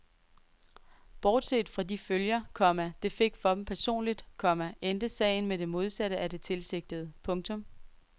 Bortset fra de følger, komma det fik for dem personligt, komma endte sagen med det modsatte af det tilsigtede. punktum